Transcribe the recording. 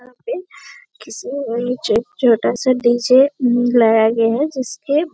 किसी छोटा-छोटा सा डी.जे. मिलाया गया है जिसके--